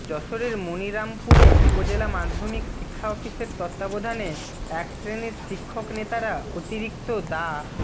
যশোরের মনিরামপুরে উপজেলা মাধ্যমিক শিক্ষা অফিসের তত্ত্বাবধানে এক শ্রেণির শিক্ষক নেতারা অতিরিক্ত দা